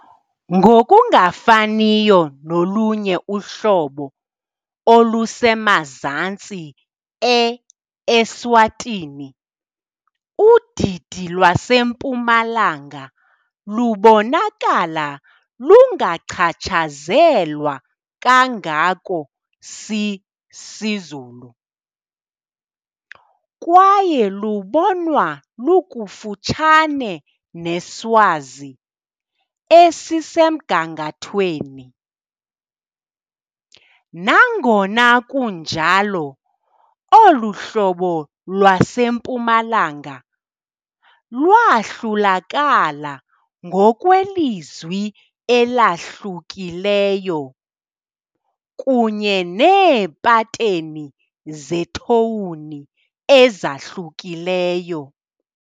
Ngokungafaniyo nolunye uhlobo olusemazantsi e-Eswatini, udidi lwaseMpumalanga lubonakala lungachatshazelwa kangako siZulu, kwaye lubonwa lukufutshane neSwazi esisemgangathweni. Nangona kunjalo, olu hlobo lwaseMpumalanga lwahlulakala ngokwelizwi elahlukileyo, kunye neepateni zethowuni ezahlukileyo.